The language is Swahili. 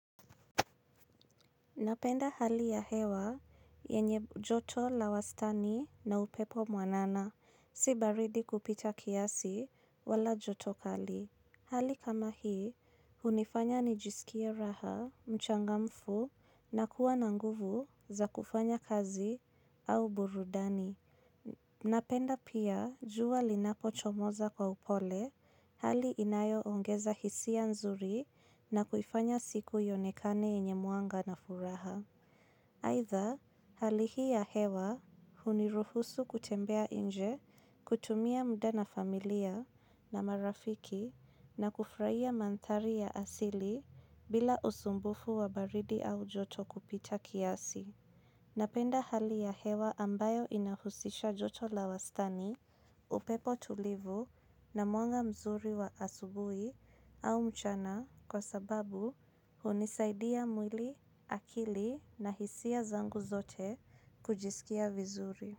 Napenda hali ya hewa yenye joto la wastani na upepo mwanana si baridi kupita kiasi wala joto kali. Hali kama hii, unifanya nijisikie raha, mchangamfu na kuwa na nguvu za kufanya kazi au burudani. Napenda pia juwa linapo chomoza kwa upole, hali inayo ongeza hisia nzuri na kufanya siku yonekane enye muanga na furaha. Aitha, halihi ya hewa huniruhusu kutembea inje, kutumia muda na familia na marafiki na kufraia mantari ya asili bila usumbufu wa baridi au joto kupita kiasi. Napenda hali ya hewa ambayo inahusisha joto la wastani upepo tulivu na muanga mzuri wa asubui au mchana kwa sababu hunisaidia mwili akili na hisia zangu zote kujisikia vizuri.